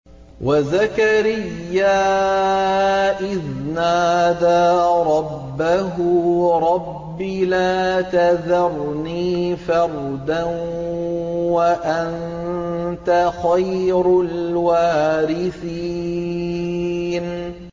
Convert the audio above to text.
وَزَكَرِيَّا إِذْ نَادَىٰ رَبَّهُ رَبِّ لَا تَذَرْنِي فَرْدًا وَأَنتَ خَيْرُ الْوَارِثِينَ